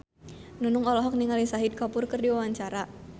Nunung olohok ningali Shahid Kapoor keur diwawancara